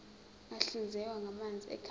ahlinzekwa ngamanzi ekhaya